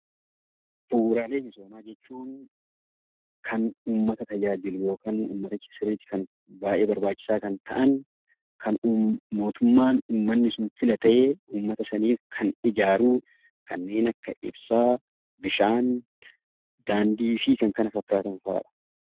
Bu'uuraalee misoomaa jechuun kan uummata tajaajilu yookaan baay'ee barbaachisaa kan ta'an kan mootummaan uummanni sun filate uummata saniif kan ijaaru kanneen akka ibsaa, bishaan, daandii fi kan kana fakkaatan fa'aadha.